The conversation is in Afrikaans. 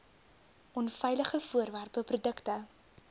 onveilige voorwerpe produkte